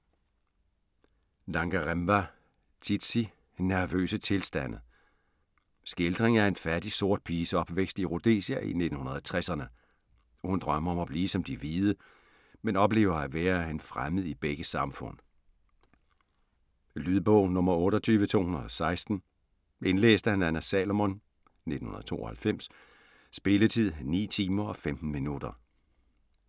Dangarembga, Tsitsi: Nervøse tilstande Skildring af en fattig sort piges opvækst i Rhodesia i 1960'erne. Hun drømmer om at blive som de hvide, men oplever at være en fremmed i begge samfund. Lydbog 28216 Indlæst af Nanna Salomon, 1992. Spilletid: 9 timer, 15 minutter.